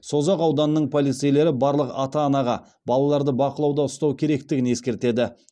созақ ауданының полицейлері барлық ата анаға балаларды бақылауда ұстау керектігін ескертеді